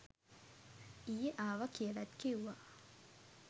ඊයේ ආව කියලත් කිව්වා